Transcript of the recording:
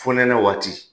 Fonɛnɛ waati